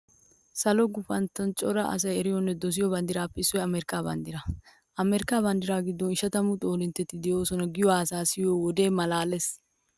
Salo gufanttuwan cora asay eriyonne dosiyo banddiratuppe issoy amerkkaa banddiraa. Amerkkaa banddiraa giddon ishatamu xoolintteti de'oosona giyo haasayaa siyiyo wode maalaalees.